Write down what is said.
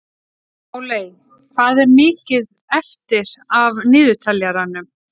Páley, hvað er mikið eftir af niðurteljaranum?